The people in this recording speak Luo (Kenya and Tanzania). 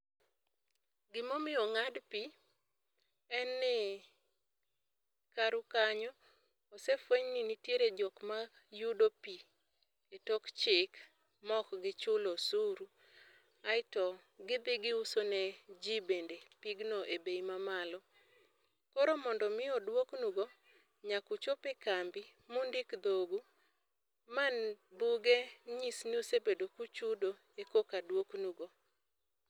Gima omiyo ongád pi, en ni karu kanyo, osefweny ni nitiere jok ma yudo pi e tok chik, ma ok gichulo osuru. Aeto gidhi giuso ne ji bende pigno e bei ma malo. Koro mondo omi odwoknu go, nyaka uchop e kambi, ma undik dhogu, ma buge nyis ni usebedo kuchudo, ekoka dwoknugo.